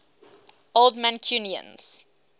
old mancunians